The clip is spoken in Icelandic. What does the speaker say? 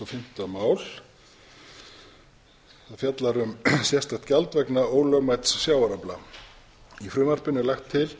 fimmta mál það fjallar um sérstakt gjald vegna ólögmæts sjávarafla í frumvarpinu er lagt til